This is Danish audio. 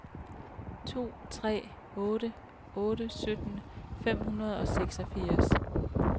to tre otte otte sytten fem hundrede og seksogfirs